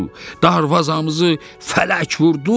Darvazamızı fələk vurdu!